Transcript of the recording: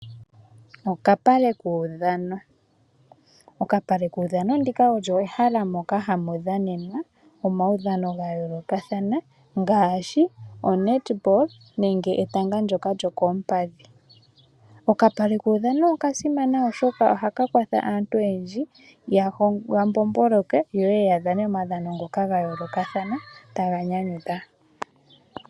Okapale kuudhano. Okapale kuudhano ndika olyo ehala moka hamu dhanenwa omaudhano ga yoolokathana ngaashi onetball nenge etanga ndyoka lyokoompadhi. Okapale kuudhano okasimana oshoka oha ka kwatha aantu oyendji ya mbomboloke yo yeye ya dhane omaudhano ngoka ga yoolokathana taga nyanyudha.